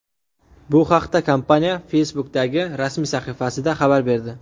Bu haqda kompaniya Facebook’dagi rasmiy sahifasida xabar berdi .